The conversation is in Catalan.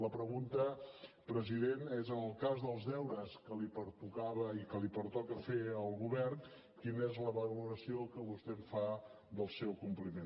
la pregunta president és en el cas dels deures que li pertocava i que li pertoca fer al govern quina és la valoració que vostè en fa del seu compliment